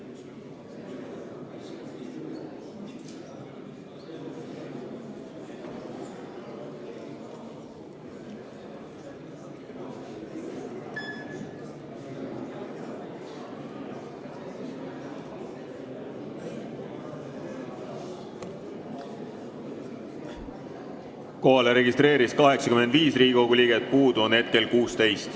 Kohaloleku kontroll Kohalolijaks registreerus 85 Riigikogu liiget, hetkel puudub 16.